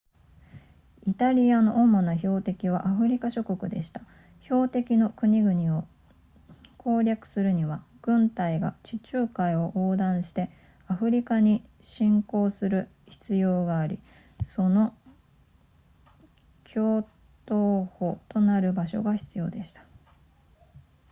イタリアの主な標的はアフリカ諸国でした標的の国々を攻略するには軍隊が地中海を横断してアフリカに侵攻する必要がありその橋頭保となる場所が必要でした